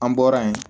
An bɔra yen